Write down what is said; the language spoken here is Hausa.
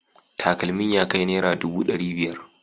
Takalmin ya kai naira dubu dari biyar